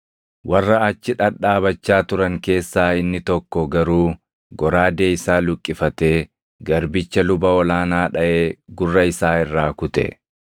Warra achi dhadhaabachaa turan keessaa inni tokko garuu goraadee isaa luqqifatee garbicha luba ol aanaa dhaʼee gurra isaa irraa kute.